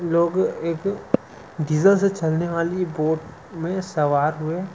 लोग की एक गीजर से चलने बाली बोट मे सवार हुए--